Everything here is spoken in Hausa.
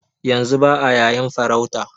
Yanzu ba'a yayin farauta